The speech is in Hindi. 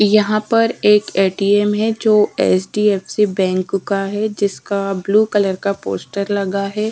यहाँ पर एक ए_ टी_ एम् जो H_ D_ F_ C bank का है जिसका ब्लू कलर का पोस्टर लगा है।